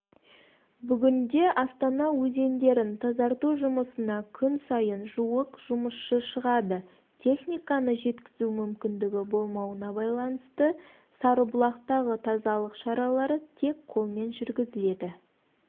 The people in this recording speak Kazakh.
бүгінде астана өзендерін тазарту жұмысына күн сайын жуық жұмысшы шығады техниканы жеткізу мүмкіндігі болмауына байланысты сарыбұлақтағы тазалық шаралары тек қолмен жүргізіледі